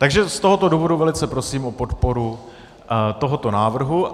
Takže z tohoto důvodu velice prosím o podporu tohoto návrhu.